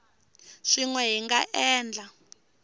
swin we hi nga endla